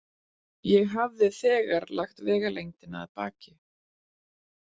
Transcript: Ég hafði þegar lagt vegalengdina að baki.